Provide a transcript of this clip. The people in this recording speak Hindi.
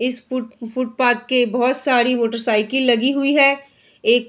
इस फुट फुटपाथ के बहोत सारी मोटरसाइकिल लगी हुई है| एक --